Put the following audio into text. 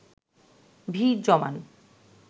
ভিড় জমান